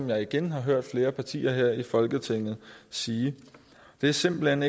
jeg igen hørt flere partier her i folketinget sige det er simpelt hen